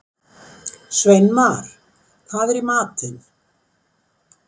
Sveinmar, hvað er í matinn?